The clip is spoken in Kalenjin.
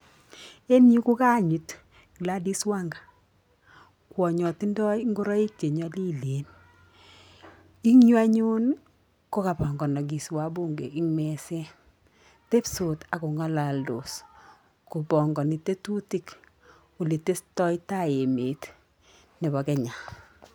Engyu kokanyiit Gladis Wanga kwanyoo tindoi ngoroik che nyenyalilen. Engyu anyun kokabanganiki wabunge eng meseet. Tebsot ako ng'alaldoos kopangani tetutik oletestatai emet nebo kenya.